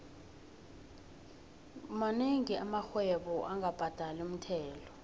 monengi amarhwebo angabhadali umthelo